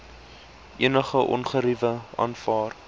enige ongerief aanvaar